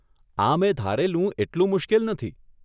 આ મેં ધારેલું એટલું મુશ્કેલ નથી.